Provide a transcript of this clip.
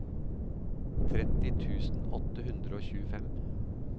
tretti tusen åtte hundre og tjuefem